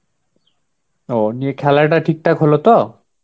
ও নিয়ে খেলাটা ঠিকঠাক হলো তো?